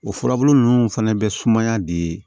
O furabulu nunnu fana bɛ sumaya di